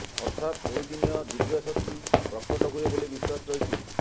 ଅର୍ଥାତ ଏହିଦିନ ଦିବ୍ୟ ଶକ୍ତି ପ୍ରକଟ ହୁଏ ବୋଲି ବିଶ୍ୱାସ ରହିଛି